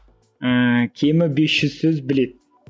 ііі кемі бес жүз сөз біледі